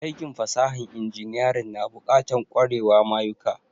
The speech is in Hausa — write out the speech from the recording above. Aikin fasahan inginiyarin na bukatan kwarewa mayuka